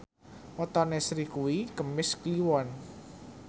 wetone Sri kuwi Kemis Kliwon